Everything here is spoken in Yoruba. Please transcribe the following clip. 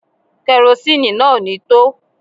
Kerosini náà ò ní tó